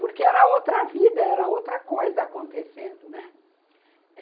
Porque era outra vida, era outra coisa acontecendo, né.